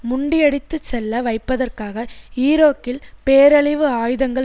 முண்டியடித்துச்செல்ல வைப்பதற்காக ஈராக்கில் பேரழிவு ஆயுதங்கள்